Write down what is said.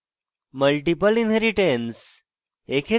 multiple inheritance